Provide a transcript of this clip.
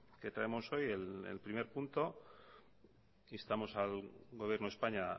que traemos hoy el primer punto instamos al gobierno de españa